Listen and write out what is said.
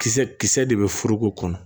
Kisɛ kisɛ de bɛ foroko kɔnɔ